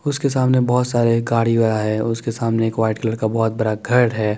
उसके सामने बोहोत सारे गाड़िया उसके सामने एक वाइट कलर का घर है ।